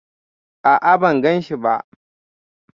A'a, ban ganshi ba.